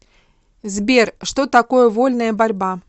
сбер что такое вольная борьба